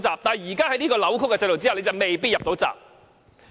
但是，在現時這個扭曲的制度下，你卻未必"入到閘"。